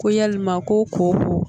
Ko yalima ko ko